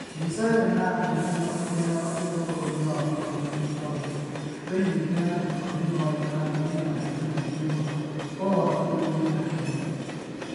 Mbica ĩnyo ĩratarĩria ũria mũtongoria wa bũrũri njoroge, oigĩte atĩ bũrũri wa Iran wĩ na hinya mũingĩ mũno ũũ atĩ ndũngĩmakio.